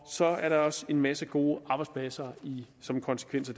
så er der også en masse gode arbejdspladser som konsekvens af